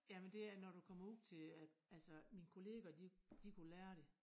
Jamen det er når du kommer ud til øh altså mine kollegaer de de kunne lære det